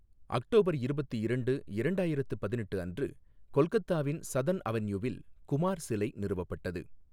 October இருபத்து இரண்டு, இரண்டாயிரத்து பதினெட்டு அன்று கொல்கத்தாவின் சதர்ன் அவென்யூவில் குமார் சிலை நிறுவப்பட்டது.